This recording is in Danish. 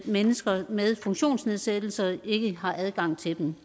mennesker med funktionsnedsættelser ikke har adgang til dem